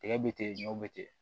Tigɛ bɛ ten ɲɔw be ten